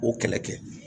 O kɛlɛ kɛ